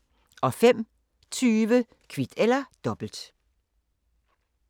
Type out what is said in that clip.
05:20: Kvit eller Dobbelt